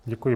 Děkuji.